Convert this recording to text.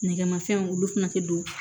Nɛgɛmafɛnw olu fɛnɛ te don